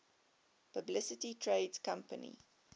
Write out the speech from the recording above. publicly traded companies